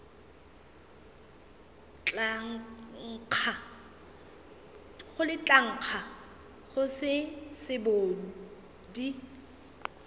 tla nkga go se sebodi